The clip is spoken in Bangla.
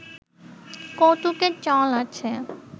কৌতুকের চল আছে